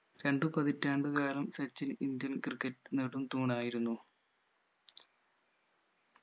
രണ്ടു പതിറ്റാണ്ട് കാലം സച്ചിൻ indian ക്രിക്കറ്റ് നടും തൂണായിരുന്നു